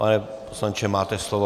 Pane poslanče, máte slovo.